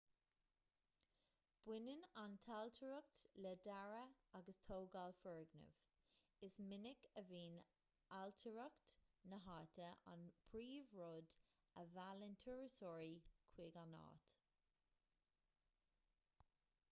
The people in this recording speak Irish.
baineann an ailtireacht le dearadh agus tógáil foirgneamh is minic a bhíonn ailtireacht na háite an príomhrud a mheallann turasóirí chuig an áit